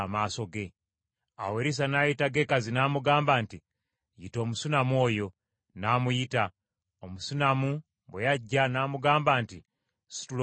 Awo Erisa n’ayita Gekazi n’amugamba nti, “Yita Omusunammu oyo.” N’amuyita. Omusunammu bwe yajja n’amugamba nti, “Situla omwana wo.”